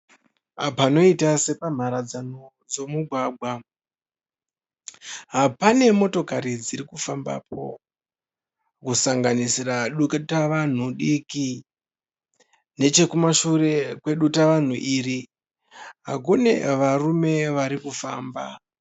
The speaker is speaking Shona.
Panoiita sepamharadzano dzemugwagwa pane motokari dziri kufambapo, kusanganisira dutavanhu diki. Nechekumashure kwedutavanhu iri kune varume vari kufamba.